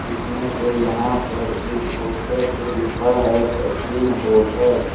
इसमें से यहां पर एक पोस्टर पे लिखा है सचिन होटल ।